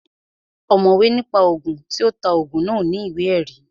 Ọ̀mọ̀wé ní pa Ògùn, tí ó ta Ògùn náà ò ní ìwé ẹ̀rí